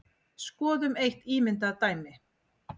Skoðum eitt ímyndað dæmi.